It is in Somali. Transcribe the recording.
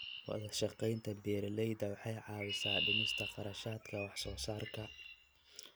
Wadashaqeynta beeralayda waxay caawisaa dhimista kharashaadka wax soo saarka.